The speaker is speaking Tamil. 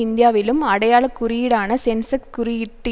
இந்தியாவிலும் அடையாள குறியீடான சென்செக் குறியீட்டு